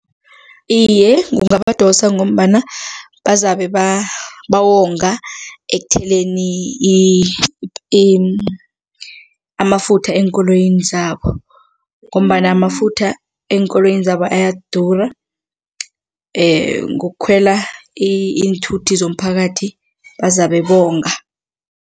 Iye, kungabadosa ngombana bazabe bawonga ekutheleni amafutha eenkoloyini zabo ngombana amafutha eenkoloyini zabo ayadura ngokukhwela iinthuthi zomphakathi bazabe bonga.